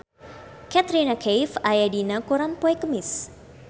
Katrina Kaif aya dina koran poe Kemis